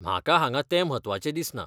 म्हाका हांगा तें म्हत्वाचें दिसना.